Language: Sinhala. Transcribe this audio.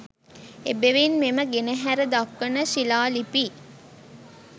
එබැවින් මෙම ගෙනහැර දක්වන ශිලා ලිපි